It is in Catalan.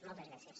moltes gràcies